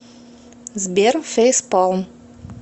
сбер фейспалм